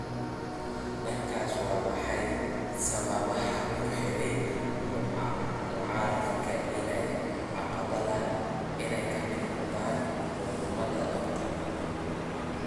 Dhankaas, waa maxay sababaha ku riixay mucaaradka inay aqbalaan inay ka mid noqdaan xukuumadda Dr.